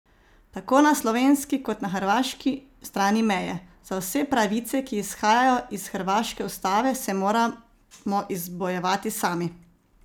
Tako na slovenski kot na hrvaški strani meje: "Za vse pravice, ki izhajajo iz hrvaške ustave, se moramo izbojevati sami.